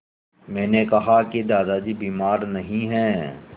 मैंने कहा कि दादाजी बीमार नहीं हैं